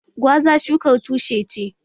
Gwaza shukar tushe ce